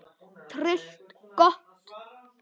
Tryllt gott!